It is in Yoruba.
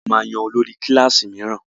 A máa yan olórí kílàsì míràn.